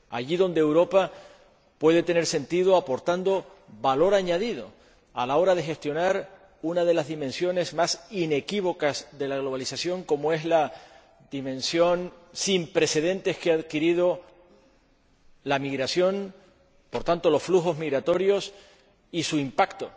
Allí donde Europa puede tener sentido, aportando valor añadido a la hora de gestionar una de las dimensiones más inequívocas de la globalización, como es la dimensión sin precedentes que ha adquirido la migración, por tanto los flujos migratorios, y su impacto